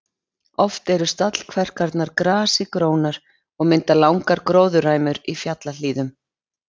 Oft eru stallkverkarnar grasi grónar og mynda langar gróðurræmur í fjallahlíðum.